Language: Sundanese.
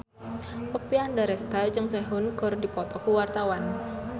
Oppie Andaresta jeung Sehun keur dipoto ku wartawan